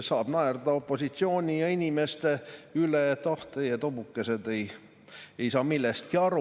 Saab naerda opositsiooni ja inimeste üle, et ah, teie, tobukesed, ei saa millestki aru.